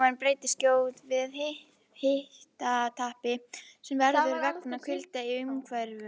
Líkaminn bregst skjótt við hitatapi sem verður vegna kulda í umhverfinu.